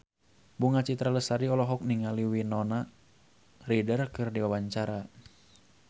Bunga Citra Lestari olohok ningali Winona Ryder keur diwawancara